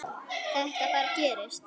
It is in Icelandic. Þetta bara gerist.